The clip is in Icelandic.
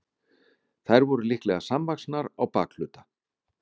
þær voru líklega samvaxnar á bakhluta